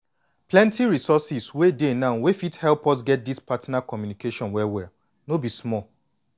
plenty resources wey dey now wey fit help us get this partner communication well well no be small.